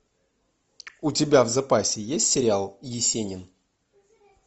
у тебя в запасе есть сериал есенин